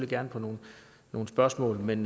gerne på nogle nogle spørgsmål men